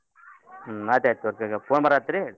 ಹ್ಮ್ ಆಯ್ತ್ ಆಯ್ತ್ ತೋರಿ phone ಬರಾಹತ್ರೀ.